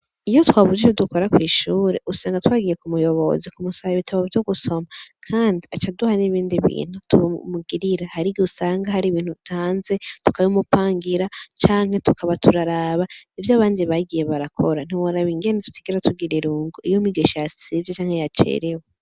Iyo twabuze ivyo dukora kw'ishure usanga twagiye kuraba umuyobozi aduhe ibitabo vyo gusoma, kandi acaduha n'ibindi bintu tumugirira har'igihe usanga har'ibintu bidapanze tukabimupangira canke tukaba turaraba ivy'abandi bakora, ntiworaba ingene tudahora tugira irungu iyo umwigisha yasivye canke yacerewe.